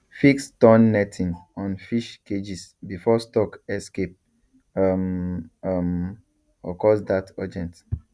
fix torn netting on fish cages before stock escape um um occurs that urgent